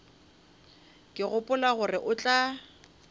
ke gopola gore o tla